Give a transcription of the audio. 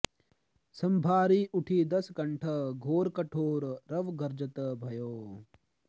संभारि उठि दसकंठ घोर कठोर रव गर्जत भयो